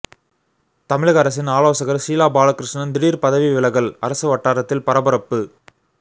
தமிழக அரசின் ஆலோசகர் ஷீலா பாலகிருஷ்ணன் திடீர் பதவி விலகல் அரசு வட்டாரத்தில் பரபரப்பு